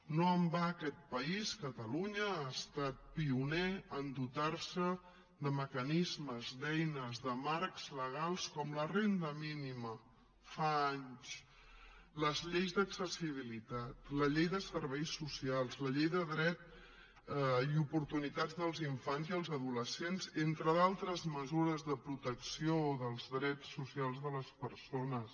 no en va aquest país catalunya ha estat pioner a dotar se de mecanismes d’eines de marcs legals com la renda mínima fa anys les lleis d’accessibilitat la llei de serveis socials la llei de dret i oportunitats dels infants i adolescents entre d’altres mesures de protecció dels drets socials de les persones